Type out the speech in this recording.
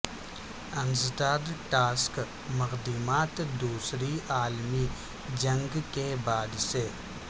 انسداد ٹاسک مقدمات دوسری عالمی جنگ کے بعد سے